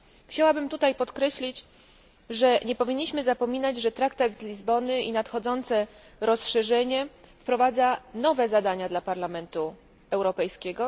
Chciałabym tutaj podkreślić, że nie powinniśmy zapominać, że Traktat z Lizbony i nadchodzące rozszerzenie wprowadzają nowe zadania dla Parlamentu Europejskiego.